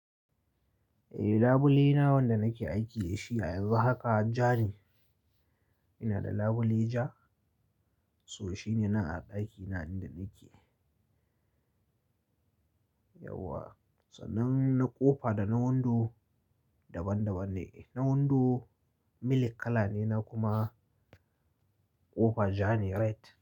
Eh labule na wanda nake aiki da shi a yanzu haka ja ne. Ina da labule ja, so shi ne na a ɗaki na inda nake. Yauwa, tsanan na kofa da na wundo daban daban ne. Na wundo milk kala ne na kuma kofa ja ne red.